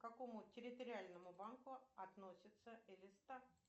к какому территориальному банку относится элиста